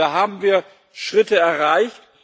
Also da haben wir Schritte erreicht.